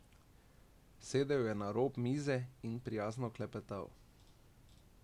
Sedel je na rob mize in prijazno klepetal.